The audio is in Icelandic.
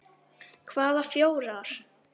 Hvaða fjórar?